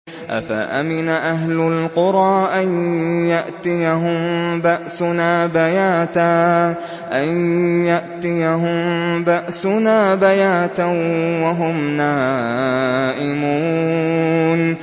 أَفَأَمِنَ أَهْلُ الْقُرَىٰ أَن يَأْتِيَهُم بَأْسُنَا بَيَاتًا وَهُمْ نَائِمُونَ